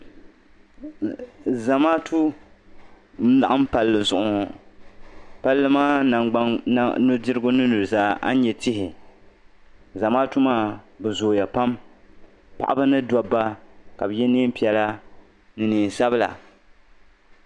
Zamaatu n-laɣim palli zuɣu ŋɔ palli maa nu'dirigu mini nu'zaa ani nyɛ tihi zamaatu maa be zooya pam paɣaba ni dabba ka be ye neen'piɛla ni neen'sabila.